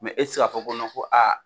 e ti se k'a fɔ ko ko a.